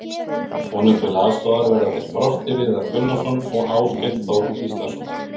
Honum til aðstoðar verða þeir Frosti Viðar Gunnarsson og Áskell Þór Gíslason.